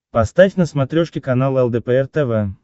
поставь на смотрешке канал лдпр тв